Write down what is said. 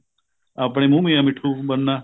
ਆਪਣੇ ਮੂੰਹ ਮੀਆਂ ਮਿੱਠੂ ਬਨਣਾ